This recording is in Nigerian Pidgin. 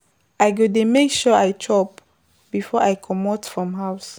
I go dey make sure I chop before I comot from house.